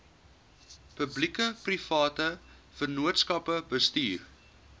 publiekeprivate vennootskappe bestuur